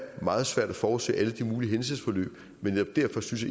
meget svært at forudse alle de mulige hændelsesforløb men netop derfor synes